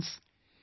Friends,